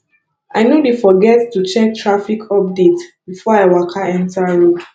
i no dey forget to check traffic update before i waka enta road